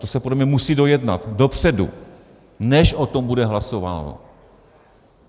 To se podle mě musí dojednat dopředu, než o tom bude hlasováno.